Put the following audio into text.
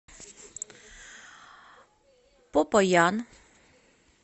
попаян